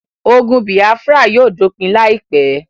Ogun bìáfírà yóò dópin láìpé